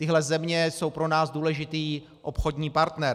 Tyhle země jsou pro nás důležitým obchodním partnerem.